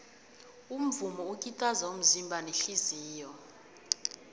umvumo ukitaza umzimba nehliziyo